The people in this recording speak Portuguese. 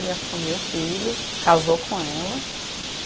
Ele assumiu o filho, casou com ela.